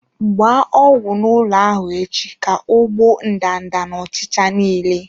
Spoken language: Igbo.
Gba ọgwụ n'ụlọ ahụ echi ka ọ gbuo ndanda na ọchịcha niile.